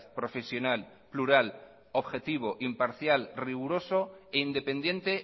profesional plural objetivo imparcial riguroso e independiente